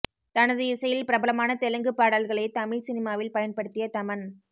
தனது இசையில் பிரபலமான தெலுங்கு பாடல்களை தமிழ் சினிமாவில் பயன்படுத்திய தமன்